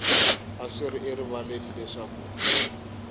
a swi ri erivaleni leswaku